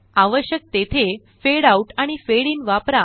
आवश्यक तेथे fade out आणि फेड इन वापरा